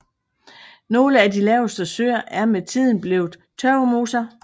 Nogle af de laveste søer er med tiden blevet tørvemoser